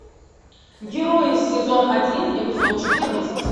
герои сезон один эпизод четырнадцать